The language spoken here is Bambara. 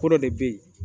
Ko dɔ de bɛ yen